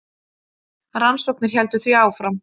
Rannsóknir héldu því áfram.